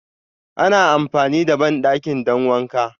Ana amfani da bandaki don wanka.